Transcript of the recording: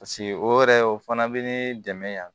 Paseke o yɛrɛ o fana bɛ ne dɛmɛ yan